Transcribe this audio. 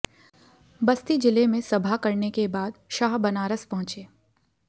बस्ती जिले में सभा करने के बाद शाह बनारस पहुंचे